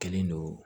Kɛlen don